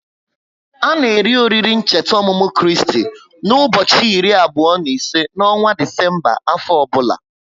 A na eri oriri ncheta ọmụmụ Kristi na ubochi iri abụo n'ise n'ọnwa Disemba afọ ọbula